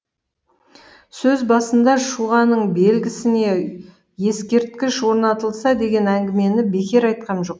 сөз басында шұғаның белгісіне ескерткіш орнатылса деген әңгімені бекер айтқам жоқ